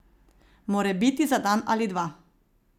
Morebiti za dan ali dva.